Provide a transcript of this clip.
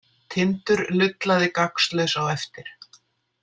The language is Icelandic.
Tindur lullaði gagnslaus á eftir.